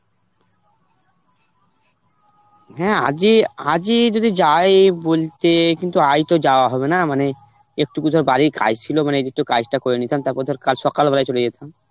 হ্যাঁ আজই, আজই যদি যাই বলতে কিন্তু আজ তো যাওয়া হবে না, মানে একটুকু ঘর বাড়ির কাজ ছিল মানে যদি কাজটা করে নিতাম তারপর ধর কাল সকাল বেলা চলে যেতাম.